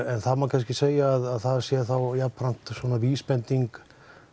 það má kannski segja að það sé jafnframt vísbending